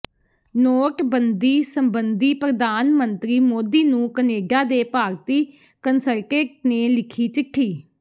ਨੋਟਬੰਦੀ ਸਬੰਧੀ ਪ੍ਰਧਾਨ ਮੰਤਰੀ ਮੋਦੀ ਨੂੰ ਕਨੇਡਾ ਦੇ ਭਾਰਤੀ ਕੰਸਲਟੇਟ ਨੇ ਲਿਖੀ ਚਿੱਠੀ